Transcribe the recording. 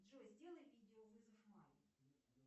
джой сделай видеовызов маме